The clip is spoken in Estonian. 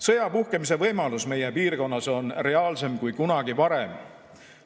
Sõja puhkemise võimalus meie piirkonnas on reaalsem kui kunagi varem.